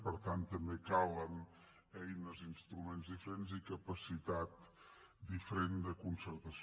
per tant també calen eines instruments diferents i capacitat diferent de concertació